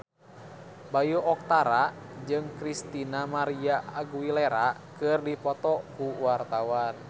Bayu Octara jeung Christina María Aguilera keur dipoto ku wartawan